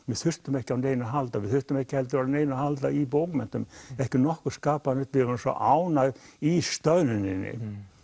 við þurftum ekki á neinu að halda við þurftum ekki heldur á neinu að halda í bókmenntum ekki nokkurn skapaðan hlut við vorum svo ánægð í stöðnuninni